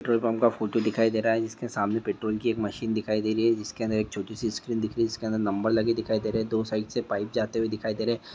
Petrol pump ल photo दिखाई दे रहा है जिसके सामने पेट्रोल की एक मशीन दिखाई दे रही है जिसके अंदर एक छोटी सी स्क्रीन दिख रही है जिसके अंदर नंबर लगे दिखाई दे रे है दो साइड से पाइप जाते दिखाई दे रहे है।